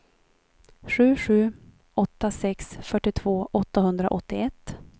sju sju åtta sex fyrtiotvå åttahundraåttioett